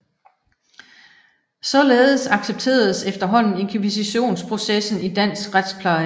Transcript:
Således accepteredes efterhånden invkisitionsprocessen i dansk retspleje